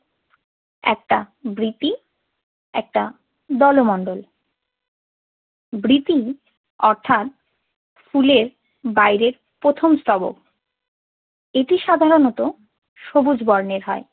একটা বৃতি একটা দলমন্ডল। বৃতি অর্থাৎ ফুলের বাহিরের প্রথম স্তবক। এটি সাধারণত সবুজ বর্ণের হয়